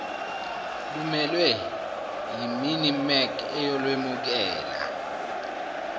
lumelwe yiminmec eyolwemukela